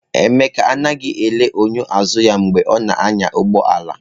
Emeka anaghị ele enyo azụ ya mgbe ọ na-anya ụgbọ ala.